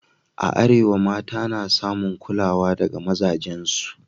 A Arewa, mata na samun kulawa daga mazajensu